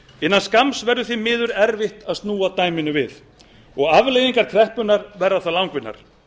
innan skamms verður því miður erfitt að snúa dæminu við og afleiðingar kreppunnar verða þá langvinnar